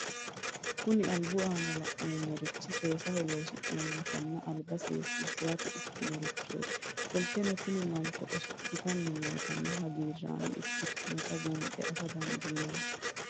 Kuni alibu aana la'nemo rich sesaho loosi'anina aliba sesisirate ikanotichoti qoliteno tin manchi asol'itan nootana hagirame ikitinotna bunxe afa dandinemo